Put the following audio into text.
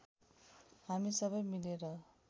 हामी सबै मिलेर